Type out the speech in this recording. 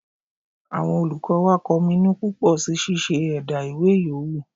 Àwọn olùkọ́ wà kọminu púpọ̀ sí ṣíṣe ẹ̀dá ìwé yòówù